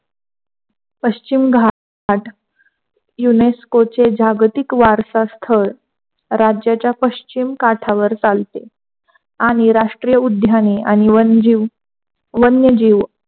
पश्चिम घाट युनेस्कोचे जागतिक वारसा स्थळ राज्याचा पश्चिम काठावर चालते, आणि राष्ट्रीय उद्यानी आणि वन वन्य जीव